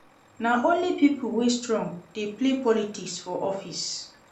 Na only pipo wey strong dey play politics for office.